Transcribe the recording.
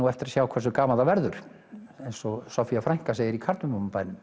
eftir að sjá hversu gaman það verður eins og Soffía frænka segir í